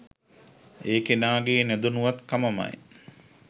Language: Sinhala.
ඒ කෙනාගෙ නොදැනුවත්කමමයි.